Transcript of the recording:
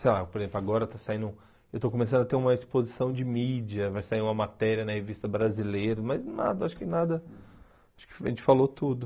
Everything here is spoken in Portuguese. Sei lá, por exemplo, agora está saindo, eu estou começando a ter uma exposição de mídia, vai sair uma matéria na revista brasileira, mas nada, acho que nada, acho que a gente falou tudo.